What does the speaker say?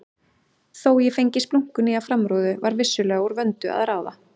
Þó ég fengi splunkunýja framrúðu var vissulega úr vöndu að ráða.